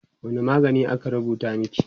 wani magani aka rubuta maki?